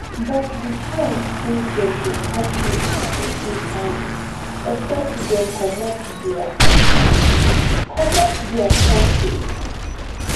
but di chance say dem go catch dis pipo dey tiny except dem comot dia comot dia kontri